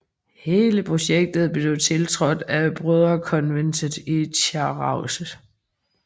Hele projektet blev tiltrådt af brødrekonventet i Chartreuse